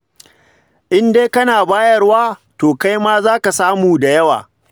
In dai kana bayarwa, to kai ma za ka samu da yawa.